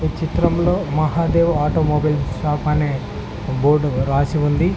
ఈ చిత్రంలో Mahadev automobile shop అనే బోర్డ్ రాసి ఉంది.